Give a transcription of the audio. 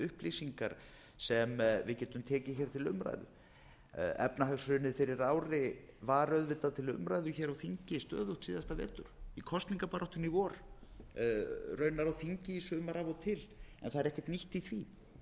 upplýsingar sem við getum tekið til umræðu efnahagshrunið fyrir ári var auðvitað til umræðu hér á þingi stöðugt síðasta vetur í kosningabaráttunni í vor raunar á þingi í sumar af og til en það er ekkert nýtt í